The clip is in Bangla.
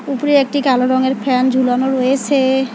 উপরে একটি কালো রঙের ফ্যান ঝুলানো রয়েসে।